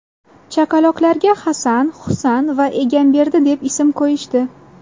Chaqaloqlarga Hasan, Husan va Egamberdi deb ism qo‘yishdi.